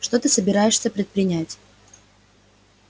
что ты собираешься предпринять